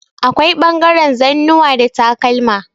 Akwai ɓangaren zannuwa da takalma.